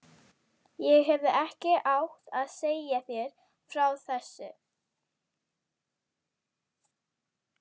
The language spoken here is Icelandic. Ég hefði ekki átt að segja þér frá þessu